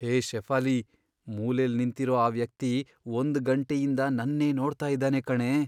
ಹೇ ಶೆಫಾಲಿ, ಮೂಲೆಲ್ ನಿಂತಿರೋ ಆ ವ್ಯಕ್ತಿ ಒಂದ್ ಗಂಟೆಯಿಂದ ನನ್ನೇ ನೋಡ್ತಾ ಇದಾನೆ ಕಣೇ.